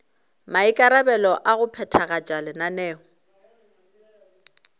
maikarabelo a go phethagatša lenaneo